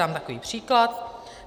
Dám takový příklad.